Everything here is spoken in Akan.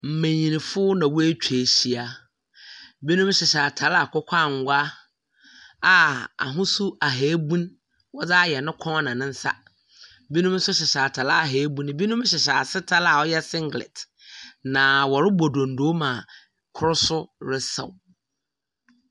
Mmenyinfo na wɔatwa ahyia ha, binom hyehyɛ ataar a akokɔ angwa a ahosu ahabun wɔdze ayɛ ne kɔn na ne nsa. Binom nso hyehyɛ ataar a ebunu binom hyehyɛ ase taar a wɔyɛ singlet na wɔrebɔ dondo ma koro nso resaw.